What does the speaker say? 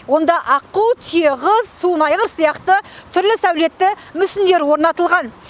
онда аққу түйе құс суын айғыр сияқты түрлі сәулетті мүсіндері орнатылған